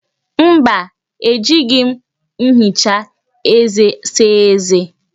Mba, ejighi m nhicha eze saa eze